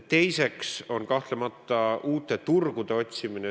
Teiseks on kahtlemata uute turgude otsimine.